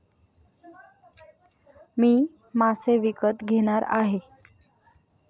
मी मासे विकत घेणार आहे.